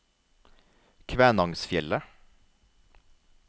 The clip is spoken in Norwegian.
Kvænangsfjellet